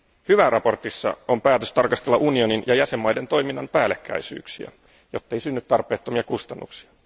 Hyvää mietinnössä on päätös tarkastella unionin ja jäsenvaltioiden toiminnan päällekkäisyyksiä, jottei synny tarpeettomia kustannuksia.